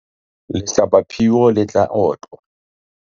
lehlabaphio le tla otlwa